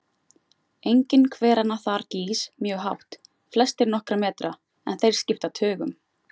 Enginn hveranna þar gýs mjög hátt, flestir nokkra metra, en þeir skipta tugum.